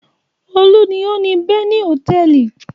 Olú ni ó ni Beni Hòtẹ́ẹ́lì.